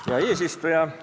Hea eesistuja!